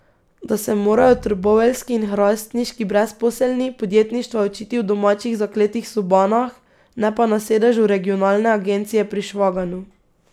Da se morajo trboveljski in hrastniški brezposelni podjetništva učiti v domačih zakletih sobanah, ne pa na sedežu regionalne agencije pri Švaganu.